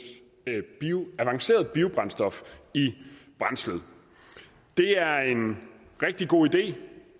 avanceret biobrændstof i brændslet det er en rigtig god idé